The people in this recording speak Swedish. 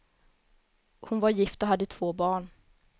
Hon var gift och hade två barn.